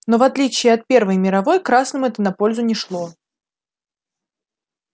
но в отличие от первой мировой красным это на пользу не шло